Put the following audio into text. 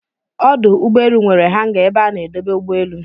Ọdụ ụgbọelụ nwere hanga ebe a na-edobe ụgbọ elu